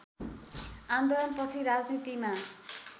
आन्दोलनपछि राजनीतिमा